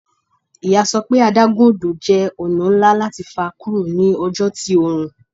Iya sọ pe adagun odo jẹ ọna nla lati fa kuro ni ọjọ ti oorun